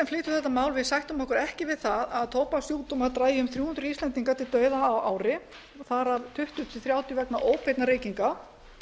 flytjum þetta mál sættum okkur ekki við það að tóbakssjúkdómar dragi um þrjú hundruð íslendinga til dauða á ári þar af tuttugu til þrjátíu vegna óbeinna reykinga